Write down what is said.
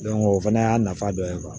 o fana y'a nafa dɔ ye